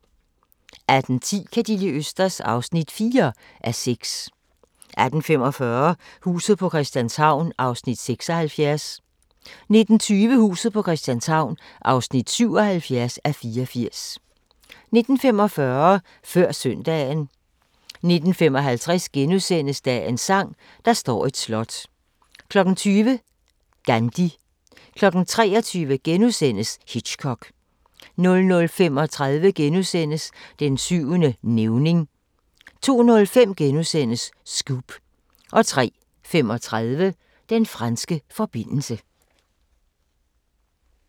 18:10: Ka' De li' østers? (4:6) 18:45: Huset på Christianshavn (76:84) 19:20: Huset på Christianshavn (77:84) 19:45: Før søndagen 19:55: Dagens sang: Der står et slot * 20:00: Gandhi 23:00: Hitchcock * 00:35: Den syvende nævning * 02:05: Scoop * 03:35: Den franske forbindelse